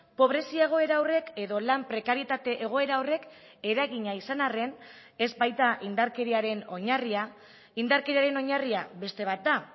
pobrezia egoera horrek edo lan prekarietate egoera horrek eragina izan arren ez baita indarkeriaren oinarria indarkeriaren oinarria beste bat da